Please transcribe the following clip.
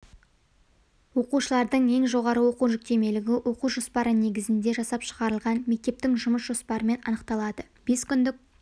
оқушылардың ең жоғары оқу жүктемелігі оқу жоспары негізінде жасап шығарылған мектептің жұмыс жоспарымен анықталады бес күндік